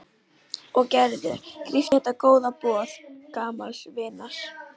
Og Gerður grípur þetta góða boð gamals vinar.